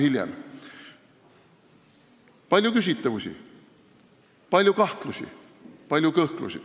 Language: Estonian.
Siin on palju küsitavusi, palju kahtlusi, palju kõhklusi.